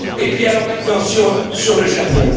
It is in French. Et puis alors maintenant, sur le Japon.